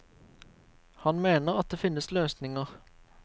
Han mener at det finnes løsninger.